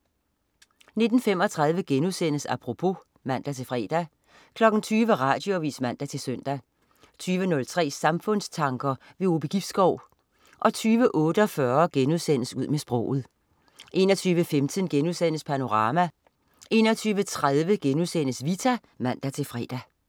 19.35 Apropos* (man-fre) 20.00 Radioavis (man-søn) 20.03 Samfundstanker. Ove Gibskov 20.48 Ud med sproget* 21.15 Panorama* 21.30 Vita* (man-fre)